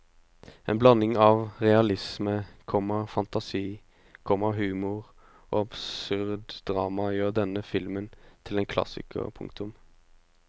En blanding av realisme, komma fantasi, komma humor og absurd drama gjør denne filmen til en klassiker. punktum